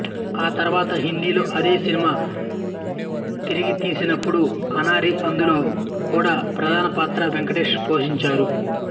ఆ తర్వాత హిందీలో అదే సినిమా తిరిగితీసినప్పుడు అనారీ అందులో కుడా ప్రధాన పాత్రను వెంకటేషే పోషించారు